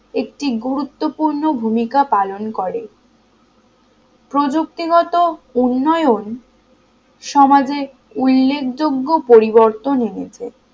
একটি গুরুত্বপূর্ণ ভূমিকা পালন করে প্রযুক্তি গত উন্নয়ন সমাজে উল্লেখযোগ্য পরিবর্তন এনেছে